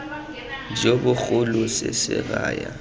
jo bogolo se se raya